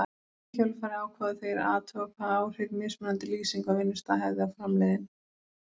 Í kjölfarið ákváðu þeir að athuga hvaða áhrif mismunandi lýsing á vinnustað hefði á framleiðni.